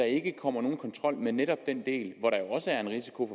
ikke kommer nogen kontrol med netop den del hvor der jo også er en risiko